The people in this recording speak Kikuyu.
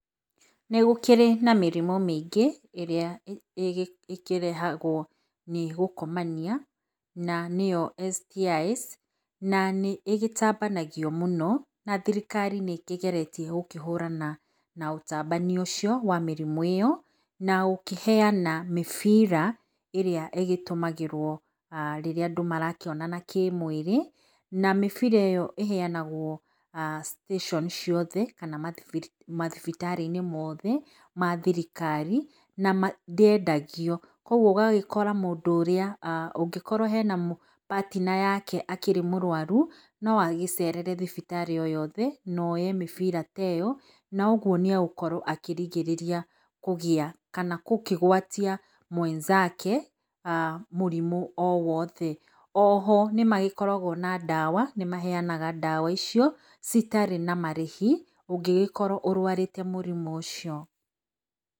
Nĩ gũkĩrĩ na mĩrimũ mĩingĩ ĩrĩa ĩkĩrehagwo nĩ gũkomania na nĩ yo STIs, na nĩkĩtambanagio mũno na thirikari nĩkĩgeretie gũkĩhũrana na ũtambania ũcio wa mĩrimũ ĩyo na gũkĩheana mĩbira ĩrĩa ĩtũmagĩrwo rĩrĩa andũ marakĩonana kĩ mwĩrĩ, na mĩbira ĩyo ĩheanagwo station ciothe kana mathibitarĩ mothe mathirikari na ndĩendagio. Koguo ũgagĩkora mũndũ ũrĩa, angĩkorwo hena mũndũ partner yake akĩrĩ mũrũwaru noagĩcerere thibitarĩ oyothe na oye mĩbira ta ĩyo, na ũguo nĩegũkora akĩrigĩrĩria kũgĩa kana gũkĩgwatia mwenzake mũrimũ o wothe. Oho nĩmagĩkoragwo na ndawa, nĩmaheanaga ndawa icio citarĩ na marehi ũngĩgĩkorwo ũrwarĩte mũrimũ ũcio.